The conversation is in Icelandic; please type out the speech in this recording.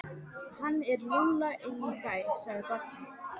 Hann er lúlla inn í bæ, sagði barnið.